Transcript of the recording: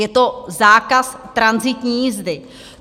Je to zákaz tranzitní jízdy.